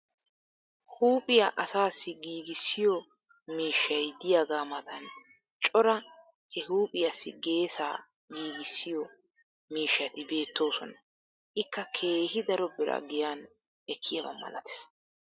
huuphphiyaa asaassi giigissiyo miishshay diyaagaa matan cora he huuphphiyaassi geessaa giigissiyo miishshati beettoosona. ikka keehi daro biraa giyan ekkiyaaba malatees.